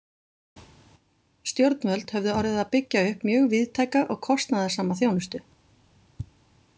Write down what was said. Stjórnvöld höfðu orðið að byggja upp mjög víðtæka og kostnaðarsama þjónustu.